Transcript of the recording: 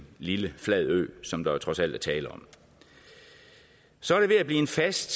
lille flad ø som der trods alt er tale om så er det ved at blive en fast